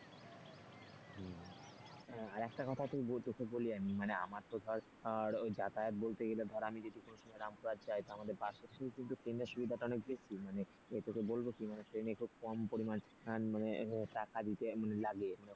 আর একটা কথা তোকে বলি আমি মানে আমার তো ধর যাতায়াত বলতে গেলে ধর আমি যদি কোন সময় রামপুরহাট যাই তখন আমাদের বাসের থেকে কিন্তু ট্রেনের সুবিধাটা অনেক বেশি মানে তোকে বলব কি মানে ট্রেনে খুব কম পরিমাণ মানে টাকা দিতে লাগে।